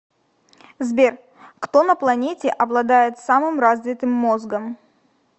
сбер кто на планете обладает самым развитым мозгом